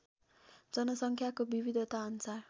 जनसङ्ख्याको विविधताअनुसार